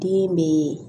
Den be